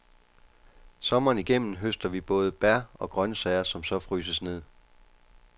Sommeren igennem høster vi både bær og grøntsager, som så fryses ned.